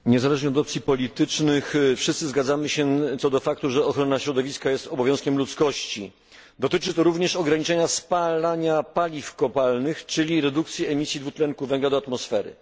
Niezależnie od opcji politycznych wszyscy zgadzamy się co do faktu, że ochrona środowiska jest obowiązkiem ludzkości. Dotyczy to również ograniczania spalania paliw kopalnych, czyli redukcji emisji dwutlenku węgla do atmosfery.